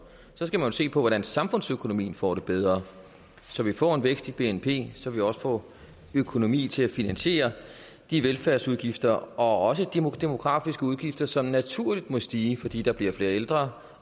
skal man jo se på hvordan samfundsøkonomien får det bedre så vi får en vækst i bnp så vi også får økonomi til at finansiere de velfærdsudgifter og også de demografisk betingede udgifter som naturligt må stige fordi der bliver flere ældre